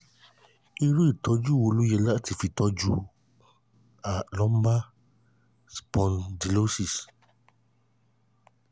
iru itoju wo lo ye lati fi toju lumbar spondylosis?